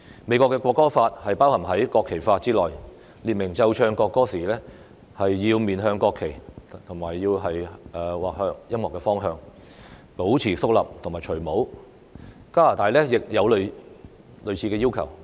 美國的國歌法包含在國旗法之內，列明奏唱國歌時要面向國旗或音樂的方向，保持肅立及除下帽子；加拿大亦有類似的要求。